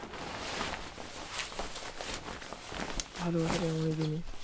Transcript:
ভালোবাসাটা এমনি জিনিস